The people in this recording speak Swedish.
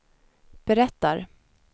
berättar